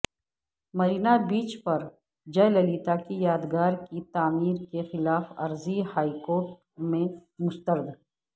مرینابیچ پر جیہ للیتا کی یادگار کی تعمیر کے خلاف عرضی ہائی کورٹ میں مسترد